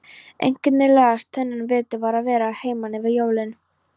Einkennilegast þennan vetur var að vera að heiman yfir jólin.